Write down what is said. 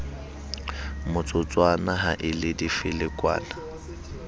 motsotswana ha e le difelekwane